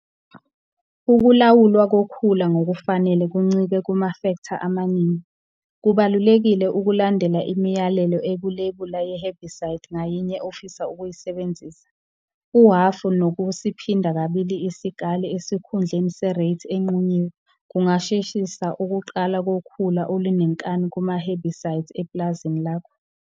Ukulawulwa kokhula ngokufanele kuncike kumafektha amaningi. Kubalulekile ukulandela imiyalelo ekulebula ye-herbicide ngayinye ofisa ukuyisebenzisa. Uhhafu nokusiphinda kabili isikali esikhundleni se-rate enqunyiwe kungasheshisa ukuqala kokhula olunenkani kuma-herbicides epulazini lakho.